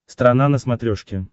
страна на смотрешке